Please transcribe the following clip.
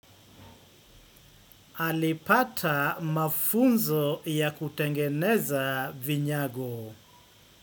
Alipata mafunzo ya kutengeneza vinyago.